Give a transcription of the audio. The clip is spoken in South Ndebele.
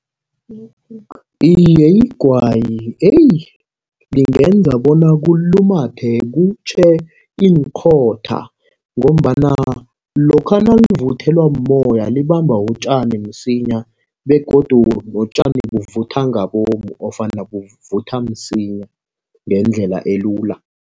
Iye, igwayi lingenza bona kulumathe kutjhe iinkhotha ngombana lokha nakuvuthela mumoya libamba utjani msinya begodu notjani kuvutha ngabomu ofana buvutha msinya ngendlela elula.